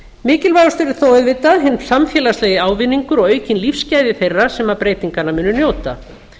mikilvægast er þó auðvitað hinn samfélagslegi ávinningur og aukin lífsgæði þeirra sem breytinganna munu njóta